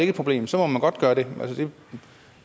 et problem så må man godt gøre det